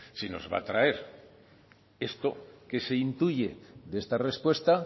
si nos va a traer esto que se intuye de esta respuesta